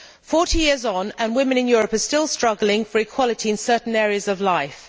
Forty years on, women in Europe are still struggling for equality in certain areas of life.